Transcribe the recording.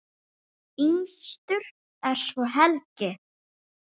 Yngstur er svo Helgi.